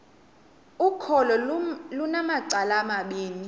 ukholo lunamacala amabini